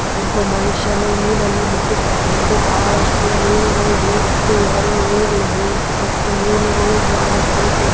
ಒಬ್ಬ ಮನುಷ್ಯನು ಮೀನನ್ನು ಮುಟ್ಟಿದ್ದಾನೆ ಬಹಳಷ್ಟು ಮೀನುಗಳು ಇವೆ ಮತ್ತು ಯಾವ ಯಾವ ಹೂಲಗಳಿವೆ ಮತ್ತೆ ಮೀನುಗಳು ಬಹಳಷ್ಟು ಉದ್ದ --